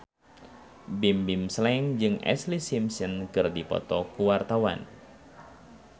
Bimbim Slank jeung Ashlee Simpson keur dipoto ku wartawan